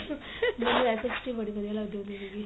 ਮੈਨੂੰ SST ਬੜੀ ਵਧੀਆ ਲੱਗਦੀ ਹੁੰਦੀ ਸੀਗੀ